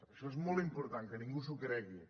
això és molt important que ningú s’ho cregui